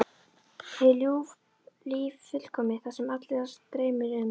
Hið ljúfa líf fullkomið: Það sem alla dreymir um.